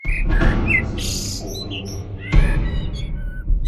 салют о круто